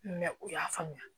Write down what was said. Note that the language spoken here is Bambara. u y'a faamuya